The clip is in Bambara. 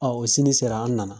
o sini sera an nana